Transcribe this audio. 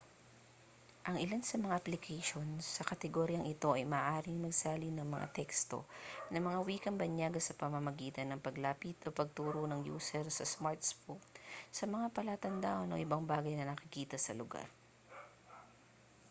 ang ilan sa mga application sa kategoryang ito ay maaaring magsalin ng mga teksto ng mga wikang banyaga sa pamamagitan ng paglapit o pagturo ng user sa smartphone sa mga palatandaan o ibang bagay na nakikita sa lugar